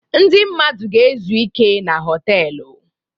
Ndị mmadụ ga-ezu ike na họtelụ.